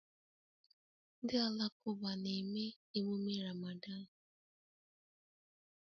Ndị Alakụba na-eme emume Ramadan